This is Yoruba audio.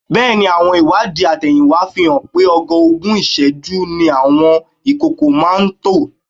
Bẹ́ẹ̀ ni, àwọn ìwádìí àtẹ̀yìnwá fi hàn pé ogoogún ìṣẹ́jú ni àwọn ìkókó máa ń tọ̀.